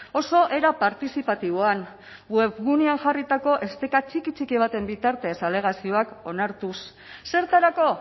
oso era partizipatiboan webgunean jarritako esteka txiki txiki baten bitartez alegazioak onartuz zertarako